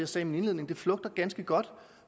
sagde i min indledning flugter ganske godt